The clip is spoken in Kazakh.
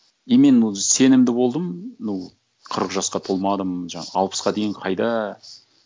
и мен сенімді болдым ну қырық жасқа толмадым жаңа алпысқа дейін қайда